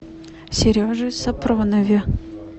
сереже сапронове